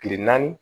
Kile naani